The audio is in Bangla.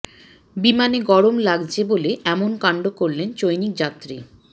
বিমানে গরম লাগছে বলে এমন কাণ্ড করলেন চৈনিক যাত্রী